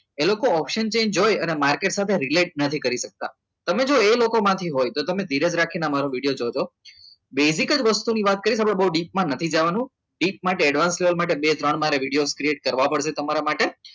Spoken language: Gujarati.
એ લોકો અવસાન જોઈ અને માર્કેટ સાથે related નથી કરી શકતા. તમે એ લોકોમાંથી હોય તો તમે ધીરજ રાખી આ મારી વિડીયો જોજો દેશી જ વસ્તુની વાત કરી છે બહુ deep માં નથી જવાનું deep માં કે advanced level માં બે બે ત્રણ મારા વિડીયો create કરવા પડશે તમારા માટે